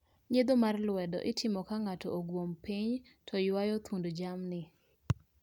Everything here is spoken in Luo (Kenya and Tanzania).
nyiedho mar lwedo itimo ka ngato oguom piny to ywayo thund jamni.